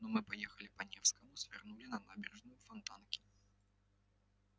но мы поехали по невскому свернули на набережную фонтанки